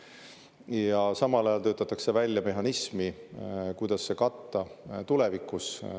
Ja samal ajal töötatakse välja mehhanismi, kuidas see katta tulevikus.